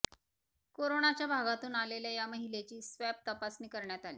कोरोनाच्या भागातून आल्याने या महिलेची स्वॅब तपासणी करण्यात आली